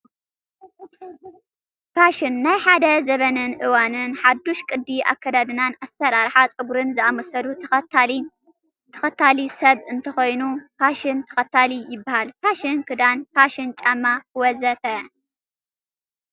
ፋሽን፡- ናይ ሓደ ዘበንን እዋንን ሓዱሽ ቅዲ ኣከዳድናን ኣሰራርሓ ፀጉሪን ዝኣመሰሉ ተኸታሊ ሰብ እንተኾይኑ ፋሽን ተኸታሊ ይባሃል፡፡ ፋሽን ክዳን፣ ፋሽን ጫማ ወ.ዘ.ተ